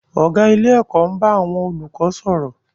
Ọ̀gá ilé-ẹ̀kọ́ ń bá àwọn olùkọ́ sọ̀rọ̀.